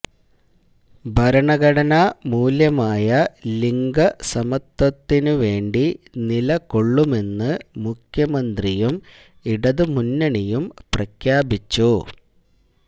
ഭരണഘടനാ മൂല്യമായ ലിംഗ സമത്വത്തിന് വേണ്ടി നിലകൊള്ളുമെന്ന് മുഖ്യമന്ത്രിയും ഇടതുമുന്നണിയും പ്രഖ്യാപിച്ചു